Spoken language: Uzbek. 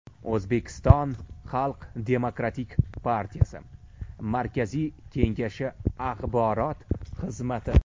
O‘zbekiston Xalq demokratik partiyasi markaziy kengashi axborot xizmati .